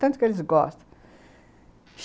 Tanto que eles gostam.